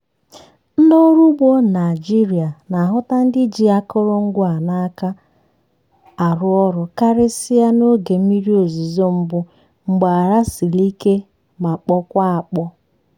ndị ọrụ ugbo naịjiria na-ahụta ndị ji akụrụngwa a n’aka arụ ọrụ karịsịa n'oge mmiri ozuzo mbụ mgbe ala siri ike ma kpọkwaa akpọọ.